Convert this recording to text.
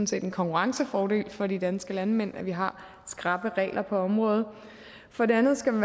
set en konkurrencefordel for de danske landmænd at vi har skrappe regler på området for det andet skal